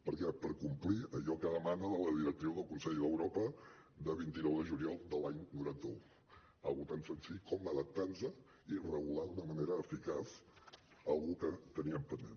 per què per complir allò que demana la directiva del consell d’europa de vint nou de juliol de l’any noranta un una cosa tan senzilla com adaptar nos i regular d’una manera eficaç una cosa que teníem pendent